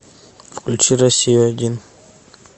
включи россию один